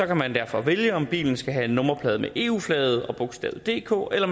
kan man derfor vælge om bilen skal have et nummerplade med eu flaget og bogstaverne dk eller